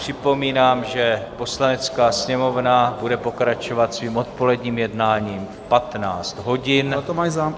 Připomínám, že Poslanecká sněmovna bude pokračovat svým odpoledním jednáním v 15 hodin.